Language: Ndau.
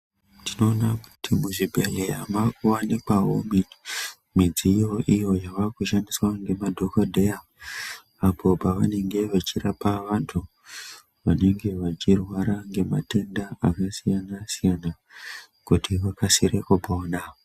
Tinoona kuti muzvibhedhleya makuvanikwavo midziyo iyo yava kushandiswa nemadhogodheya. Apo pavanenge vachirapa vantu vanenge vachirwara ngematenda akasiyana-siyana, kuti vakasire kupona.